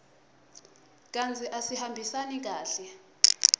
kantsi asihambisani kahle